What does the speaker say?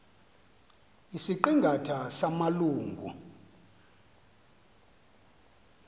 isiqi ngatha samalungu